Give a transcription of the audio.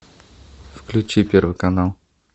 включи первый канал